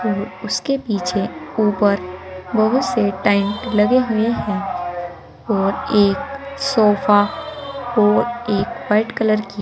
और उसके पीछे ऊपर बहुत से टेंट लगे हुए है और एक सोफा और एक व्हाइट कलर की--